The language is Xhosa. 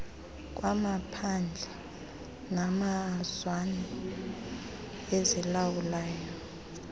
kwamaphandle namazwana azilawulayo